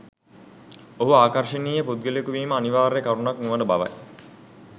ඔහු ආකර්ෂණීය පුද්ගලයකු වීම අනිවාර්ය කරුණක් නොවන බවයි.